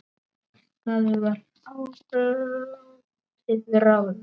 Það var látið ráða.